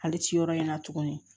Hali ciyɔrɔ in na tuguni